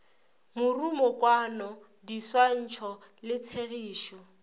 morumokwano di swantšho le tshegišo